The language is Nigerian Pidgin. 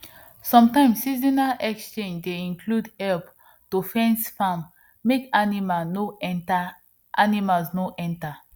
sometimes seasonal exchange dey include help to fence farm make animals no enter animals no enter